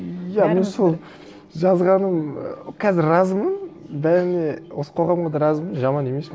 иә мен сол жазғаным і қазір разымын бәріне осы қоғамға да разымын жаман емес